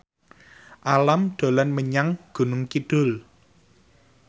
Alam dolan menyang Gunung Kidul